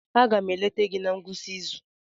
Aga m eleta gị na ngwụsị izu.